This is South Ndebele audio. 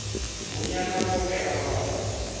bonyana boke abantu